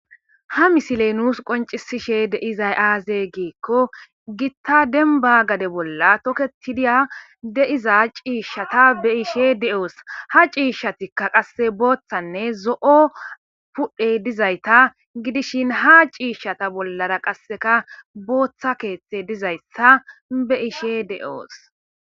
ha misiley nuus qoncisishe deizay aaze geekko gitta denba gade bolla toketidiya deiza ciishshata be ishe de7oos ha ciishshatikka qasse booththanne zo7o pudhe dizayta gidishin ha ciishshata bollara qasseka booththa keeththe dizayssa be ishe de7oos